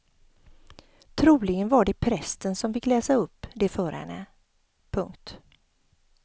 Troligen var det prästen som fick läsa upp det för henne. punkt